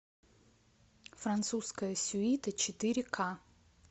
французская сюита четыре ка